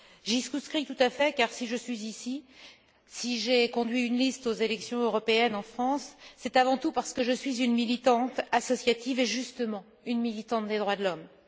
J'y souscris tout à fait car, si je suis ici, si j'ai conduit une liste aux élections européennes en France, c'est avant tout parce que je suis une militante associative et, justement, une militante des droits de l'homme.